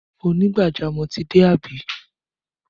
Onigbajamọ̀ ti dé àbí?